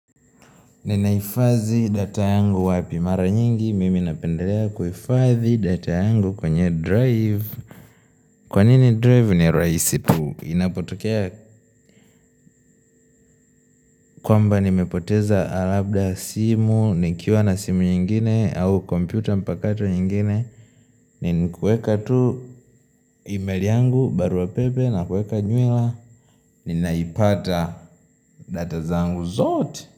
Ninaifazi data yangu wapimara nyingi, mimi napendelea kuifazi data yangu kwenye drive Kwanini drive ni rahisi tu, inapotokea kwamba nimepoteza labda simu, nikiwa na simu nyingine au computer mpakato nyingine Ninikuweka tu email yangu baruapepe na kuweka nywila, ninaipata data zangu zote.